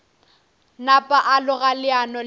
napa a loga leano le